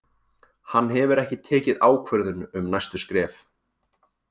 Hann hefur ekki tekið ákvörðun um næstu skref.